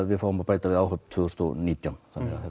við fáum að bæta við áhöfn tvö þúsund og nítján